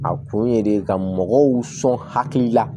A kun ye de ka mɔgɔw sɔn hakilila